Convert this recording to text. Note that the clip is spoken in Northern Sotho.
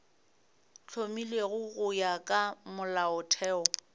hlomilwego go ya ka molaotheo